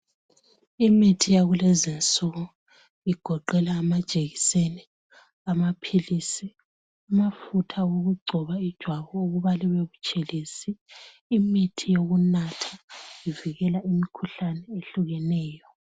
Imithi yakulezinsuku igoqela amajekiseni, amaphilisi, amafutha okugcoba ijwabu okuba libe butshelezi. Imithi yokunatha ivikela imikhuhlane ehlukeneyo